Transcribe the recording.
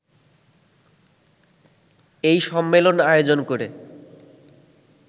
এই সম্মেলন আয়োজন করে